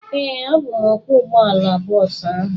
Ee, abụ m ọkwọ ụgbọala bọọsu ahụ